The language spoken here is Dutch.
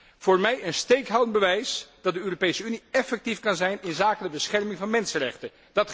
dit is voor mij een steekhoudend bewijs dat de Europese Unie effectief kan zijn inzake de bescherming van mensenrechten.